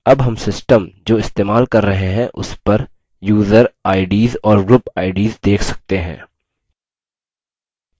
अब हम system जो इस्तेमाल कर रहे हैं उस पर user ids और group ids देख सकते हैं